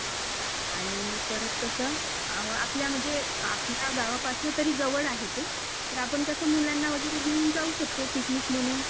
आणि परत कसं आपल्या म्हणजे आपल्या गावापासनं तरी जवळ आहे ते. तर आपण कसं मुलांना वगैरे घेऊन जाऊ शकतो picnic म्हणून.